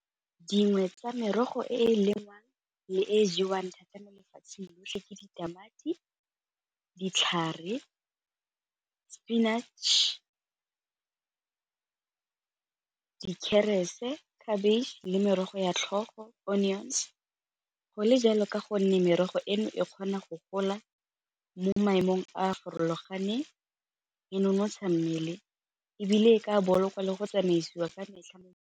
Dingwe tsa merogo e e lengwang le e jewang thata mo lefatsheng lotlhe ke ditamati, ditlhare, spinach, , cabbage le merogo ya tlhogo, onions go le jalo ka gonne merogo eno e kgona go gola mo maemong a a farologaneng nonotsha mmele ebile e ka boloka le go tsamaisiwa ka metlha mo.